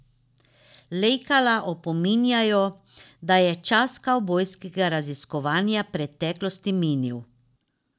Leljaka opominjajo, da je čas kavbojskega raziskovanja preteklosti minil.